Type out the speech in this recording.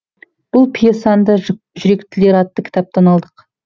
бұл пьесаны да жүректілер атты кітаптан алдық